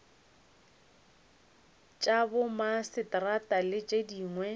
tša bomaseterata le tše dingwe